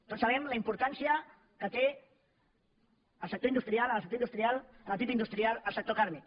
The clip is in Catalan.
tots sabem la importància que té en el sector industrial en el sector industrial en el pib industrial el sector càrnic